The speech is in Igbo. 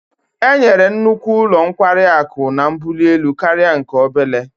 Enyere nnukwu ụlọ nkwari akụ a mbuli elu karịa nke obere